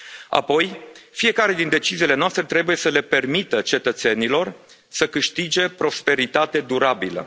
Apoi, fiecare din deciziile noastre trebuie să le permită cetățenilor să câștige prosperitate durabilă.